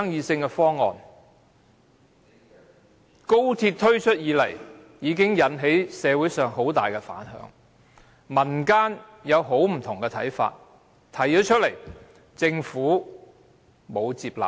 自高鐵項目推出以來，引起社會很大反響，民間提出了很多不同看法，但政府並無接納。